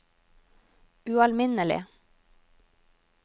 ualminnelig